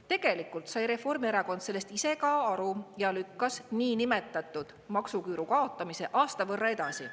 Tegelikult sai Reformierakond sellest ise ka aru ja lükkas niinimetatud maksuküüru kaotamise aasta võrra edasi.